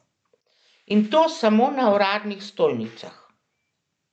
In to samo na uradnih stojnicah.